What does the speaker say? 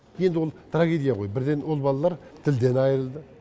енді ол трагедия ғой бірден ол балалар тілден айырылды